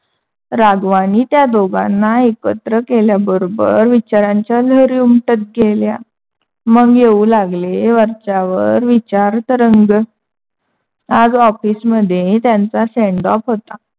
राघवांणी त्या दोघांना एकत्र केल्याबरोबर विचारांच्या लहरी उमटत गेल्या मग येऊ लागले. वरच्यावर विचार तरंग. आज ऑफिस मध्ये त्यांचा Send off होता.